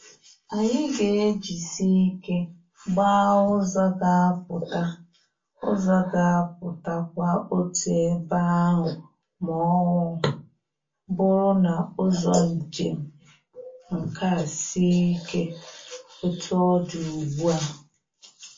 Anyị ga-ejisi ike gbaa ụzọ ga apụta ụzọ ga apụta kwa otu ebe ahụ ma ọ bụrụ na ụzọ njem nke a sie ike etu ọ dị ugbu a.